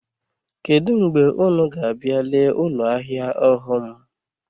Kedụ mgbe unu ga-abịa lee ụlọahịa ọhụụ m?